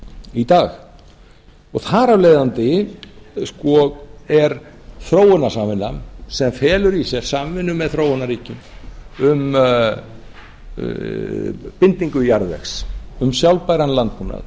í dag þar af leiðandi er þróunarsamvinnan sem felur í sér samvinnu með þróunarríkjum um bindingu jarðvegs um sjálfbæran landbúnað